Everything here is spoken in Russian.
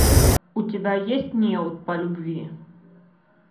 у тебя есть неуд по любви